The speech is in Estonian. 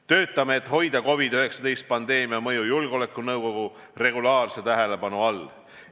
Töötame selle nimel, et hoida COVID-19 pandeemia mõju julgeolekunõukogu regulaarse tähelepanu all.